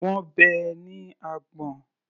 Wọ́n bẹ́ ẹ ní àgbọ̀n.